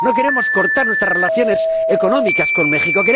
No queremos cortar nuestras relaciones económicas con México.